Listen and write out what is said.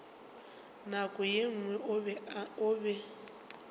nako ye nngwe o be